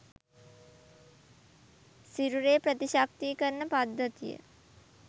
සිරුරේ ප්‍රතිශක්තීකරණ පද්ධතිය